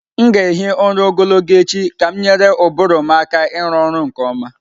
M ga-ehi ụra ogologo echi ka m nyere ụbụrụ m aka ịrụ ọrụ nke ọma.